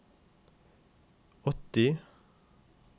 åtti